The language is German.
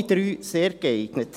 Alle drei: sehr geeignet.